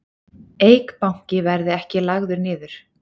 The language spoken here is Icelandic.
Eik Banki verði ekki lagður niður